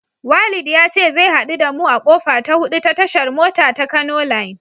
Walid ya ce zai haɗu da mu a kofa ta hudu ta tashar mota ta Kano line.